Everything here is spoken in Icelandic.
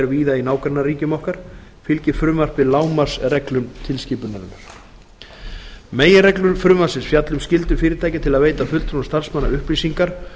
víða í nágrannaríkjum okkar fylgir frumvarpið lágmarksreglum tilskipunarinnar meginreglur frumvarpsins fjalla um skyldur fyrirtækja til að veita fulltrúum starfsmanna upplýsingar